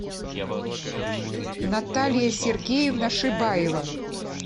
наталья сергеевна шибаева